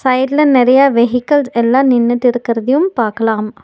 சைடுல நெறைய வெஹிகிள்ஸ் எல்லா நின்னுட்டு இருக்குறதயும் பாக்கலாம்.